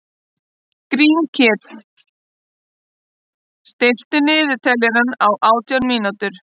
Grímkell, stilltu niðurteljara á átján mínútur.